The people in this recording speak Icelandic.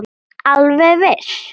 Alveg viss.